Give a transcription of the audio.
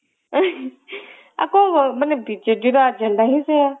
ଆଉ କଣ ବିଜେଡି ର agenda ହିଁ ସେଇଆ